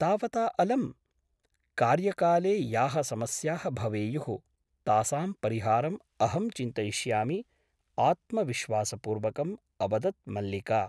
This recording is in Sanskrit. तावता अलम् । कार्यकाले याः समस्याः भवेयुः तासां परिहारम् अहं चिन्तयिष्यामि आत्मविश्वासपूर्वकम् अवदत् मल्लिका ।